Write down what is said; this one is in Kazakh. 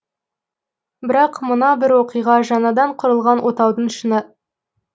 бірақ мына бір оқиға жаңадан құрылған отаудың шыңы